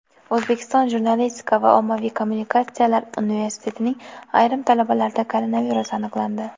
O‘zbekiston jurnalistika va ommaviy kommunikatsiyalar universitetining ayrim talabalarida koronavirus aniqlandi.